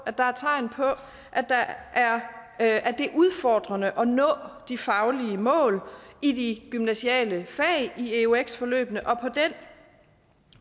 at der er tegn på at det er udfordrende at nå de faglige mål i de gymnasiale fag i eux forløbene